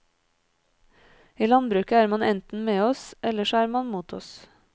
I landbruket er man enten med oss, eller så er man mot oss.